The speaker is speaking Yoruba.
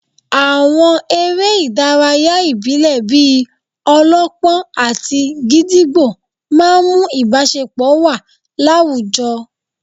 Àwọn eré ìdárayá ìbílẹ̀ bíi -ọlọ́pọ́n àti gídígbò máà ń mú ìbáṣepọ̀ wà láwùjọ